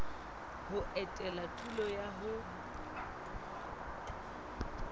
ho etela tulo eo ho